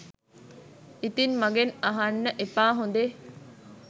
ඉතින් මගෙන් අහන්න එපා හොඳේ